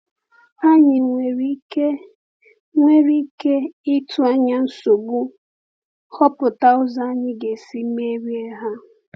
Ànyị nwere ike nwere ike ịtụ anya nsogbu, họpụta ụzọ anyị ga-esi merie ha.